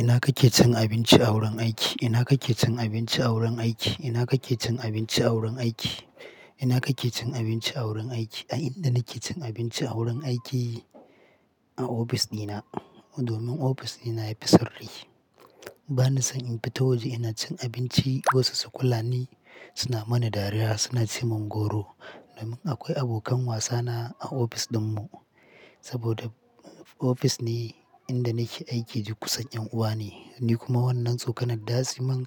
Ina kake cin abinci a wurin aiki? Ina kake cin abinci a wurin aiki? Ina kake cin abinci a wurin aiki? Ina kake cin abinci a wurin aiki? A inda nake cin abinci a wurin aiki a ofis dina domin ofis dina yafi sirri. Bana san in fita waje ina cin abinci wasu su kula ni, suna mana dariya suna ce mun goro. Domin akwai abokan wasana a ofis dinmu saboda ofis ne inda nake aiki duk kusan ƴan uwa ne. Ni kuma wannan tsokanar ɗa siman